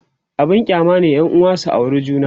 abun kyama ne yanuwa su aure juna